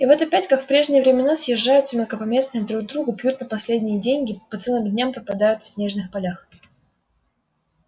и вот опять как в прежние времена съезжаются мелкопоместные друг к другу пьют на последние деньги по целым дням пропадают в снежных полях